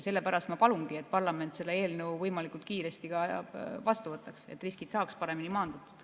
Sellepärast ma palungi, et parlament selle eelnõu võimalikult kiiresti vastu võtaks, et riskid saaks paremini maandatud.